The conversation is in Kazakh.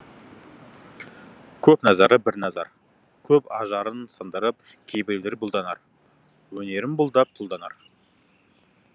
көп назары бір назар көп ажарын сындырып кейбіреулер бұлданар өнерін бұлдап тұлданар